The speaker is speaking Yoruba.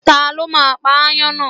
Ta ló máa pa ááyán náà?